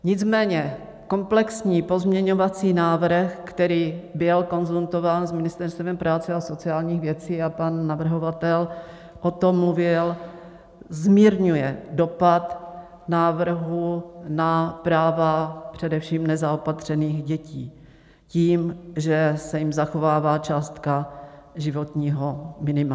Nicméně komplexní pozměňovací návrh, který byl konzultován s Ministerstvem práce a sociálních věcí, a pan navrhovatel o tom mluvil, zmírňuje dopad návrhu na práva především nezaopatřených dětí tím, že se jim zachovává částka životního minima.